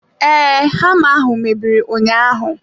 Ee, hama ahụ mebiri ụnyaahụ.